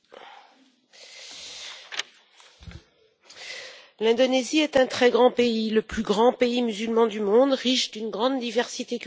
Madame la Présidente, l'Indonésie est un très grand pays, le plus grand pays musulman du monde, riche d'une grande diversité culturelle et religieuse reconnue par sa Constitution.